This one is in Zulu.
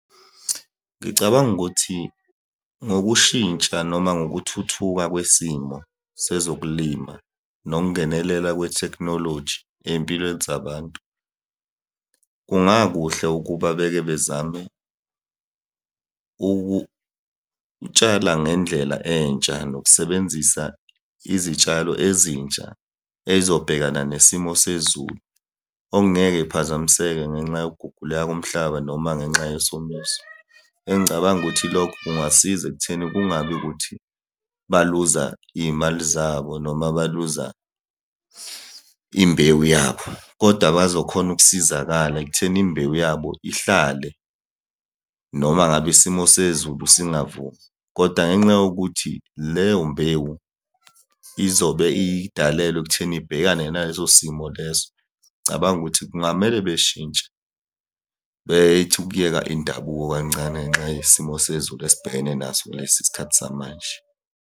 Ngicabanga ukuthi ngokushintsha noma ngokuthuthuka kwesimo sezokulima, nokungenelela kwethekhnoloji ey'mpilweni zabantu, kungakuhle ukuba beke bezame ukutshala ngendlela entsha nokusebenzisa izitshalo ezintsha ey'zobhekana nesimo sezulu. Okungeke kuphazamiseke ngenxa yokuguguleka komhlaba noma ngenxa yesomiso. Engicabanga ukuthi lokho kungasiza ekutheni kungabi ukuthi baluza iy'mali zabo noma baluza imbewu yabo, koda bazokhona ukusizakala ekutheni imbewu yabo ihlale noma ngabe isimo sezulu singavumi, koda ngenxa yokuthi leyo mbhemu izobe idalelwe ekutheni ibhekane naleso simo leso. Ngicabanga ukuthi kungamele beshintshe bethi ukuyeka indabuko kancane ngenxa yesimo sezulu esibhekene naso kulesi sikhathi samanje.